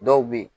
Dɔw bɛ yen